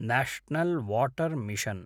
national water mission